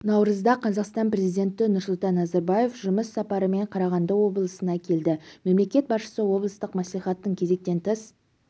наурызда қазақстан президенті нұрсұлтан назарбаев жұмыс сапарымен қарағанды облысына келді мемлекет басшысы облыстық мәслихаттың кезектен тыс